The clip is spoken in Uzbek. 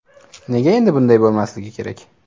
Nega endi bunday bo‘lmasligi kerak?